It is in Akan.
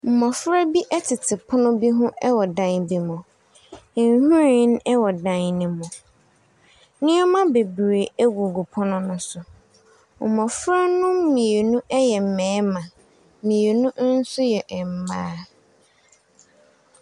Mmɔfra bi tete pono bi ho wɔ dan bi mu. Nhwiren wɔ dan no mu. Nneɛma bebree gugu pono no so. Mmɔfra no mmienu yɛ mmarima. Mmienu nso yɛ mmaa.